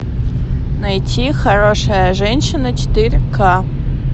найти хорошая женщина четыре к